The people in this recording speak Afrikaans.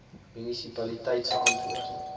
munisipaliteit se antwoord